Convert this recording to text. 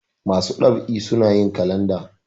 masu ɗab'i suna yin kalanda